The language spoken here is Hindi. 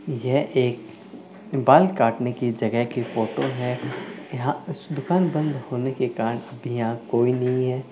यह एक बाल काटने की जगह की फोटो है यहां दुकान बंद होने के कारण अभी कोई नहीं है।